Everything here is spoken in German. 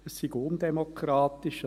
Es sei undemokratisch: